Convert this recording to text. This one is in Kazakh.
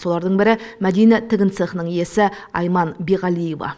солардың бірі мәдина тігін цехының иесі айман биғалиева